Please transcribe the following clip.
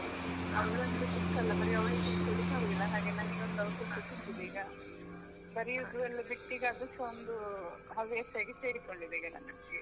ಅಂದ್ರೆ ಚಿಕ್ಕ ಅಲ್ಲಾ ಬರಿ ಅವಳಿಗೆ ಕೂತ್ಕೋಳಿಕ್ಕೆ ಆಗುದಿಲ್ಲ, ಹಾಗೆ ನನಿಗೊಂದು ಅವಕಾಶ ಸಿಕ್ಕಿದೆ ಈಗ ಬರಿಯುವುದು ಎಲ್ಲ ಬಿಟ್ಟು ಈಗ ಅದುಸಾ ಒಂದು ಹವ್ಯಾಸ ಆಗಿ ಸೇರಿಕೊಂಡಿದೆ ಈಗ ನನಗೆ.